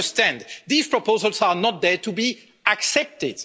But you understand these proposals are not there to be accepted.